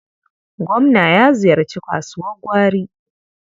Gwamna ya ziyarci kasuwar gwari.